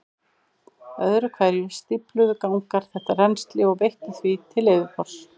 Öðru hverju stífluðu gangar þetta rennsli og veittu því til yfirborðs.